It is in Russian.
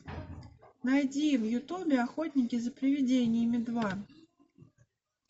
найди в ютубе охотники за привидениями два